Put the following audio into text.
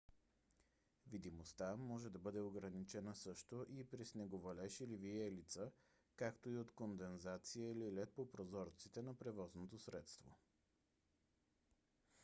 видимостта може да бъде ограничена също и при снеговалеж или виелица както и от кондензация или лед по прозорците на превозното средство